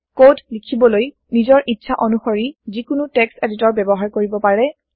code লিখিবলৈ নিজৰ ইচ্ছা অনুশৰি যিকোনো টেক্সট এডিটৰ ব্যৱহাৰ কৰিব পাৰে